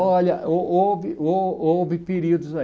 Olha, ho ho houve ho houve períodos aí.